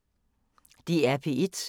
DR P1